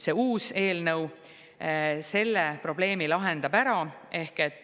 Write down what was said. See uus eelnõu lahendab selle probleemi ära.